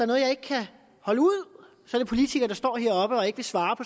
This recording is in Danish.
noget jeg ikke kan holde ud er det politikere der står heroppe og ikke vil svare